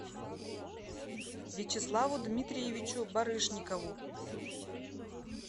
вячеславу дмитриевичу барышникову